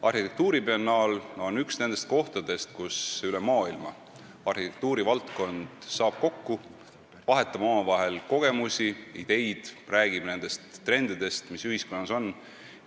Arhitektuuribiennaal on üks nendest kohtadest, kus arhitektuurivaldkonna inimesed üle maailma saavad kokku, vahetavad omavahel kogemusi ja ideid ning räägivad nendest trendidest, mis ühiskonnas on.